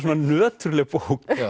nöturleg bók